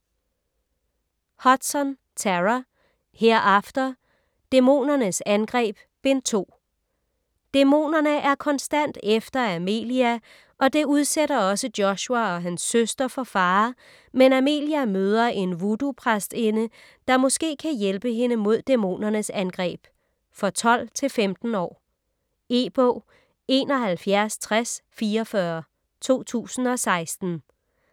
Hudson, Tara: Hereafter: Dæmonernes angreb: Bind 2 Dæmonerne er konstant efter Amelia, og det udsætter også Joshua og hans søster for fare, men Amalie møder en voodoo-præstinde, der måske kan hjælpe hende mod dæmonernes angreb. For 12-15 år. E-bog 716044 2016.